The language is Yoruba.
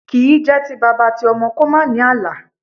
Kì í jẹ́ ti bàbá ti ọmọ kò má ní àlà.